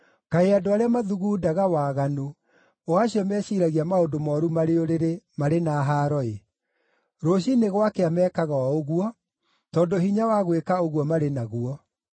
Kaĩ andũ arĩa mathugundaga waganu, o acio meciiragia maũndũ mooru marĩ ũrĩrĩ, marĩ na haaro-ĩ! Rũciinĩ gwakĩa mekaga o ũguo, tondũ hinya wa gwĩka ũguo marĩ naguo.